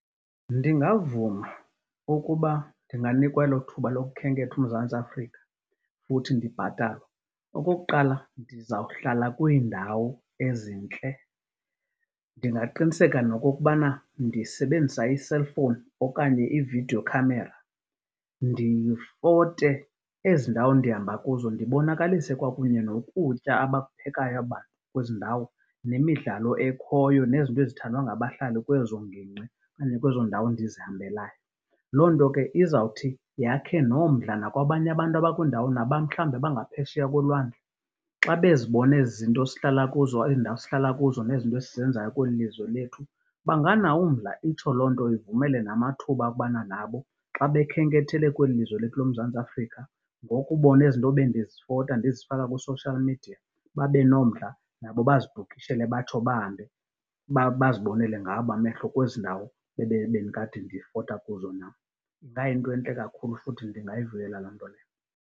Ndingavuma ukuba ndinganikwa elo thuba lokhenketha uMzantsi Afrika, futhi ndibhatalwe. Okokuqala ndizawuhlala kwiindawo ezintle. Ndingaqiniseka nokokubana ndisebenzisa iselfowuni okanye ividiyo khamera ndifote ezi ndawo ndihamba kuzo, ndibonakalise kwakunye nokutya abakuphekayo abantu kwezi ndawo, nemidlalo ekhoyo nezinto ezithandwa ngabahlali kwezo ngingqi okanye kwezo ndawo ndizihambelayo. Loo nto ke izawuthi yakhe nomdla nakwabanye abantu abakwiindawo mhlawumbi abangaphesheya kolwandle xa bezibona ezi zinto sihlala kuzo, ezi ndawo sihlala kuzo nezinto esizenzayo kweli lizwe lethu banganawo umdla. Itsho loo nto ivumele namathuba okubana nabo xa bekhenkethele kweli lizwe lethu loMzantsi Afrika, ngokubona ezi nto bendizofota ndizifaka kusoshiyal midiya, babe nomdla nabo bazibhukhishele batsho bahambe bazibonele ngawabo amehlo kwezi ndawo bendikade ndifota kuzo nam. Ingayinto entle kakhulu futhi ndingayivuyela loo nto leyo.